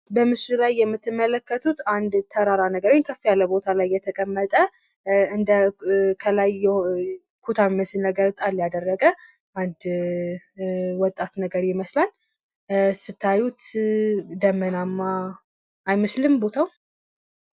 በምስሉ ላይ የምትመለከቱት አንድ ተራራ ነገር ከፍ ያለ ቦታ ላይ የተቀመጠ እንደ ከላይ ኩታ የሚመስል ነገር ጣል ያደረገ አንድ ወጣት ነገር ይመስላል። ስታዩት ደመናማ አይመስልም ቦታው?